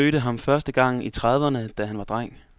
Han mødte ham første gang i trediverne, da han var dreng.